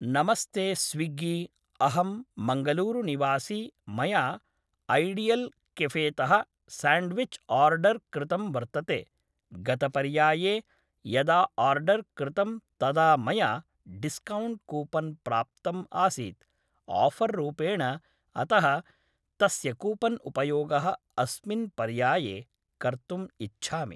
नमस्ते स्विग्गी अहं मङ्गलूरुनिवासी मया ऐडियल् केफेतः साण्ड्विच् ओर्डर् कृतं वर्तते गतपर्याये यदा ओर्डर् कृतं तदा मया डिस्कौण्ट् कूपन् प्राप्तम् आसीत् आफर् रूपेण अतः तस्य कूपन् उपयोगः अस्मिन् पर्याये कर्तुम् इच्छामि